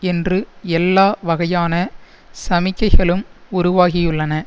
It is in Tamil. என்று எல்லா வகையான சமிக்கைகளும் உருவாகியுள்ளன